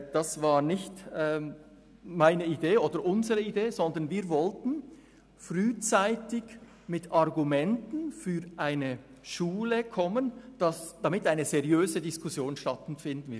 Das war nicht meine beziehungsweise nicht unsere Idee, sondern wir wollten frühzeitig Argumente einbringen, damit eine seriöse Diskussion stattfinden kann.